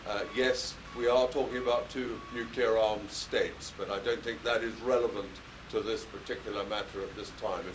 Yes, we are talking about two nuclear armed states, but I don't think that is relevant to this particular matter at this time.